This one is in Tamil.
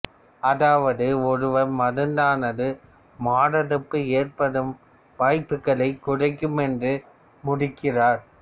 அதாவது ஒருவர் மருந்தானது மாரடைப்பு ஏற்படும் வாய்ப்புக்களைக் குறைக்கும் என்று முடிக்கிறார்